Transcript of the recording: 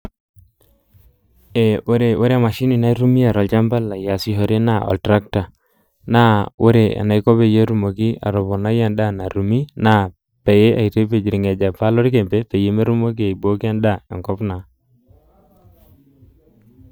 Ee ore emashini naitumia tol'chamba lai aasishore naa oltrakta, naa ore enaiko peyie etumoki atoponai endaa natumi naa pee aitipij ilnkejepa lokembe peetumoki aibooki endaa enkop naa.